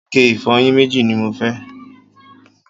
ike ìfọyín méjì ni mo fẹ́